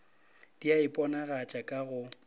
di a iponagatša ka go